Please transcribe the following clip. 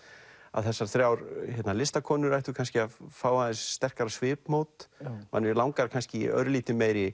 þessar þrjár listakonur ættu kannski að fá aðeins sterkara svipmót mann langar kannski í örlítið meiri